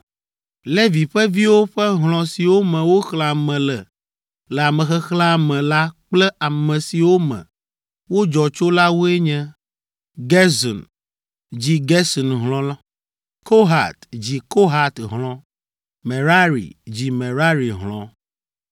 Levi ƒe viwo ƒe hlɔ̃ siwo me woxlẽ ame le le amexexlẽa me la kple ame siwo me wodzɔ tso la woe nye: Gerson dzi Gerson hlɔ̃; Kohat dzi Kohat hlɔ̃; Merari dzi Merari hlɔ̃.